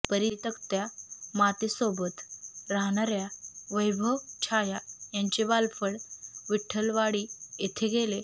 परितक्त्या मातेसोबत राहणाऱ्या वैभव छाया यांचे बालपण विठ्ठलवाडी येथे गेले